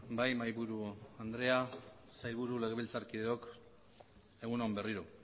bai mahaiburu andrea sailburu legebiltzarkideok egun on berriro